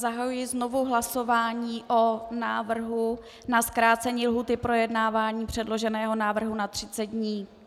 Zahajuji znovu hlasování o návrhu na zkrácení lhůty projednávání předloženého návrhu na 30 dní.